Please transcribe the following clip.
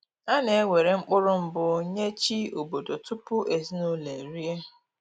A na ewere mkpụrụ mbụ nye chi obodo tupu ezinụlọ erie